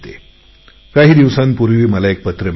काही दिवसांपूर्वी मला एक पत्र मिळाले